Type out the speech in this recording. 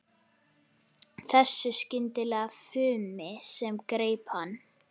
Þessu skyndilega fumi sem greip hann.